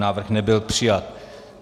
Návrh nebyl přijat.